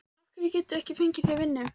Af hverju geturðu ekki fengið þér vinnu?